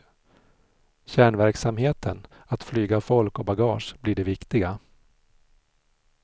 Kärnverksamheten, att flyga folk och bagage, blir det viktiga.